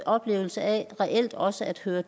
oplevelse af reelt også at høre